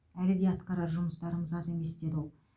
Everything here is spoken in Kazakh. әлі де атқарар жұмыстарымыз аз емес деді ол